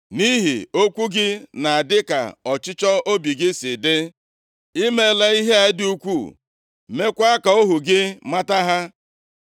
Nʼihi okwu gị na dịka ọchịchọ obi gị si dị, i meela ihe a dị ukwuu, meekwa ka ohu gị mata ha.